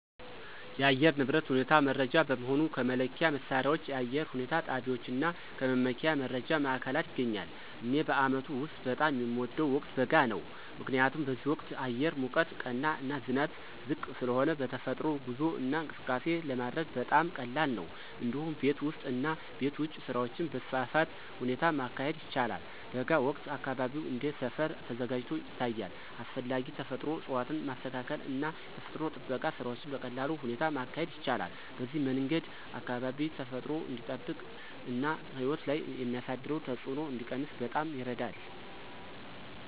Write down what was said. የአየር ንብረት ሁኔታ መረጃ በመሆኑ ከመለኪያ መሣሪያዎች፣ የአየር ሁኔታ ጣቢያዎች እና ከመመኪያ መረጃ ማዕከላት ይገኛል። እኔ በአመቱ ውስጥ በጣም የሚወደው ወቅት በጋ ነው። ምክንያቱም በዚህ ወቅት አየር ሙቀት ቀና እና ዝናብ ዝቅ ስለሆነ በተፈጥሮ ጉዞ እና እንቅስቃሴ ለማድረግ በጣም ቀላል ነው። እንዲሁም ቤት ውስጥ እና ቤት ውጭ ስራዎችን በተስፋፋ ሁኔታ ማካሄድ ይቻላል። በጋ ወቅት አካባቢው እንደ ሰፈር ተዘጋጅቶ ይታያል፣ አስፈላጊ ተፈጥሮ እፅዋትን ማስተካከል እና የተፈጥሮ ጥበቃ ስራዎችን በቀላል ሁኔታ ማካሄድ ይቻላል። በዚህ መንገድ አካባቢ ተፈጥሮ እንዲጠበቅ እና ሕይወት ላይ የሚያሳደረው ተጽዕኖ እንዲቀነስ በጣም ይረዳል።